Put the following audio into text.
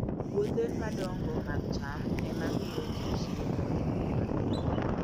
Puothe madongo mag cham ema miyo ji chiemo e piny mangima.